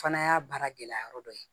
Fana y'a baara gɛlɛya yɔrɔ dɔ ye